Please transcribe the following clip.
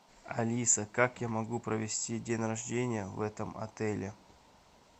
алиса как я могу провести день рождения в этом отеле